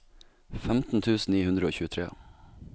femten tusen ni hundre og tjuetre